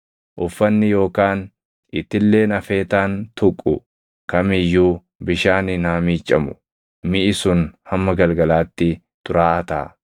Uffanni yookaan itilleen afeetaan tuqu kam iyyuu bishaaniin haa miiccamu; miʼi sun hamma galgalaatti xuraaʼaa taʼa.